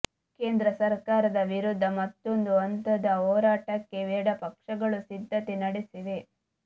ಕೇಂದ್ರ ಸರ್ಕಾರದ ವಿರುದ್ಧ ಮತ್ತೊಂದು ಹಂತದ ಹೋರಾಟಕ್ಕೆ ಎಡಪಕ್ಷಗಳು ಸಿದ್ಧತೆ ನಡೆಸಿವೆ